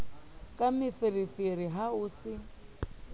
ka meferefere ha ho se